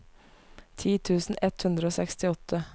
ti tusen ett hundre og sekstiåtte